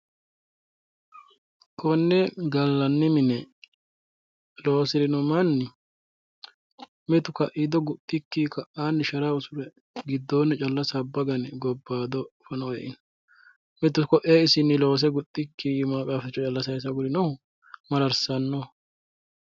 konne gallanni mine loosirino manni mitu kaiido guxxikki ka'aanni shara usure giddoonni calla sabba gane gobbaado fano eino mitu isinni qaafficho sayiise agurinohu mararssanno.